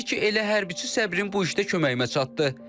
Deyir ki, elə hərbiçi səbrin bu işdə köməyimə çatdı.